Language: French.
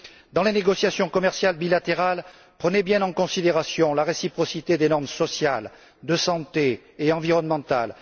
Dans les négociations commerciales bilatérales, prenez bien en considération la réciprocité des normes sociales, sanitaires et environnementales.